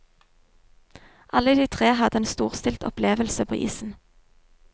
Alle tre hadde en storstilt opplevelse på isen.